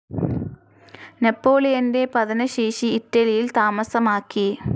നെപ്പോളിയൻ്റെ പതനശേഷി ഇറ്റലിയിൽ താമസമാക്കി.